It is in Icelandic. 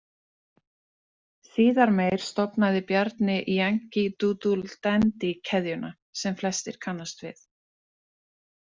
Síðar meir stofnaði Bjarni Yankee- Doodle- Dandy- keðjuna, sem flestir kannast við.